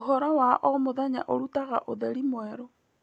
ũhoro wa o mũthenya ũrutaga ũtheri mwerũ.